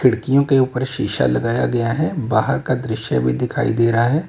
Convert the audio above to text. खिड़कियों के उपर शीशा लगाया गया है और बाहर का दृश्य भी दिखायी दे रहा है।